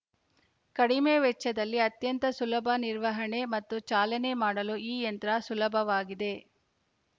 ಕಡಿಮೆ ವೆಚ್ಚದಲ್ಲಿ ಅತ್ಯಂತ ಸುಲಭ ನಿರ್ವಹಣೆ ಮತ್ತು ಚಾಲನೆ ಮಾಡಲು ಈ ಯಂತ್ರ ಸುಲಭವಾಗಿದೆ